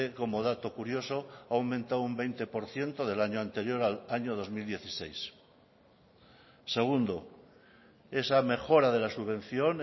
como dato curioso ha aumentado un veinte por ciento del año anterior al año dos mil dieciséis segundo esa mejora de la subvención